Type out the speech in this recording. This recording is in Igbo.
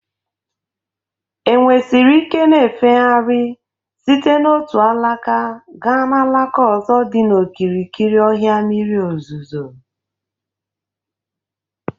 Enwe siri ikena-efegharị site n'otu alaka gaa n'alaka ozo dị n'okirikiri ọhịa mmiri ozuzo.